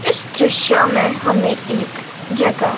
इस दृश्य में हमें एक जगा --